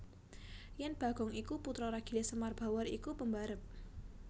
Yen Bagong iku putra ragile Semar Bawor iku pembarep